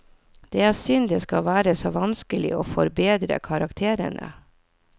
Det er synd det skal være så vanskelig å forbedre karakterene.